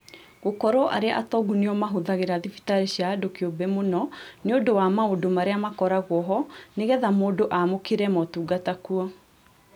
Gũkorũo arĩa atongu nĩo mahũthagĩra thibitarĩ cia andũ kĩũmbe mũno nĩũndũ wa maũndũ marĩa makoragwo ho nĩgetha mũndũ aamũkĩre motungata kuo